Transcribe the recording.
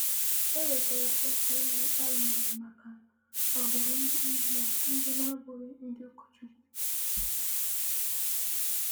E wetaara otu ewu arụnyere maka agbụrụ ndị Isrel ndị na-abụghị ndị ụkọchukwu.